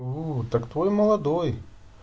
вот так твой молодой